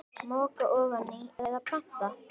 Moka ofan í eða planta?